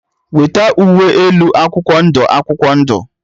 Weta uwe elu akwụkwọ ndụ akwụkwọ ndụ!.